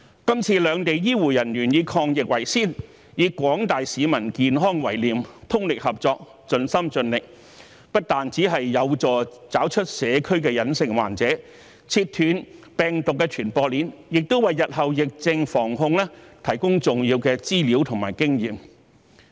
今次兩地醫護人員以抗疫為先，以廣大市民的健康為念，通力合作，盡心盡力，不但有助找出社區的隱性患者，切斷病毒的傳播鏈，亦為日後疫症防控提供重要的資料和經驗。